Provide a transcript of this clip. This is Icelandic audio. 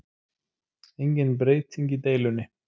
Engin breyting í deilunni